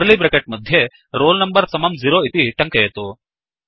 curly bracket मध्ये roll number समम् 0 इति टङ्कयतु